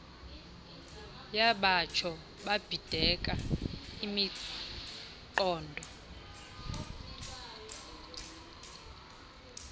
yabatsho babhideka imiqondo